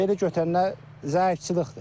Belə götürəndə zəifçilikdir.